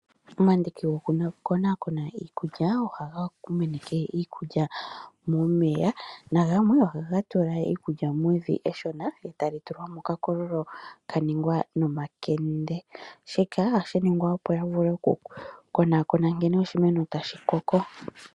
Omandiki gokukonakona iikulya ohaga meneke iikulya momeya nagamwe ohaga tula iikulya mevi eshona e tali tulwa mokakololo ka ningwa nomakende. Shika ohashi ningwa opo ya vule okukonakona nkene oshimeno tashi koko.